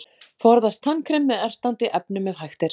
Forðast tannkrem með ertandi efnum ef hægt er.